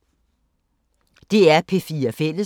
DR P4 Fælles